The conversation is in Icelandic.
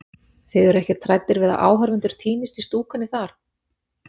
Þið eruð ekkert hræddir við að áhorfendur týnist í stúkunni þar?